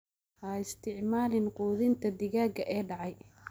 Ha isticmaalin quudinta digaaga ee dhacay.